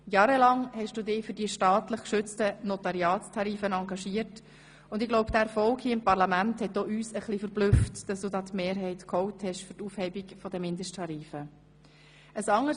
Jahrelang hast du dich für die staatlich geschützten Notariatstarife engagiert, und ich glaube, dieser Erfolg hier im Parlament hat auch uns etwas verblüfft bzw. dass du die Mehrheit für die Aufhebung der Mindesttarife geholt hast.